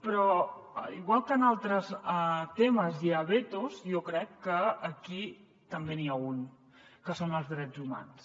però igual que en altres temes hi ha vetos jo crec que aquí també n’hi ha un que són els drets humans